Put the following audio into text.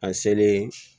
A selen